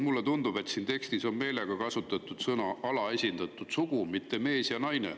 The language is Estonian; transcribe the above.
Mulle tundub, et siin tekstis on meelega kasutatud sõnu "alaesindatud sugu", mitte "mees" või "naine".